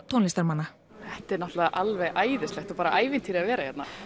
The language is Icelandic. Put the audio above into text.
tónlistarmanna þetta er náttúrulega alveg æðislegt og ævintýri að vera hérna